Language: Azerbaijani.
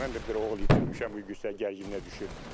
Mən də bir oğul itirmişəm, bu yüksək gərginliyə düşüb.